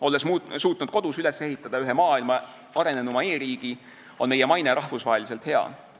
Olles suutnud kodus ehitada üles ühe maailma arenenuima e-riigi, on meie maine rahvusvaheliselt väga hea.